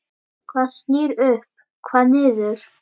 Hvað snýr upp, hvað niður?